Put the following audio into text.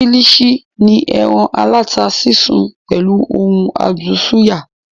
Kílìṣí ni ẹran aláta sísun pẹ̀lú ohun adùn súyà